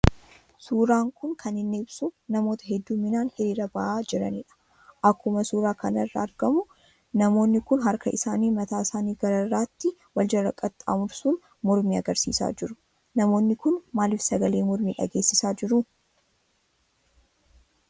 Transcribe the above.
Suuraan kun kan inni ibsu namoota hedduminaan hiriira ba'aa jirani dha. Akkuma suura kanarraa argamu namoonni kun harka isaanii mataan isaanii gararraatti wal jala qaxxaamursuun mormii agarsiisaa jiru. Namoonni kun maalif sagalee mormii dhageessisaa jiru ?